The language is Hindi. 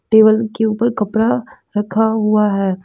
टेबल के ऊपर कपड़ा रखा हुआ है।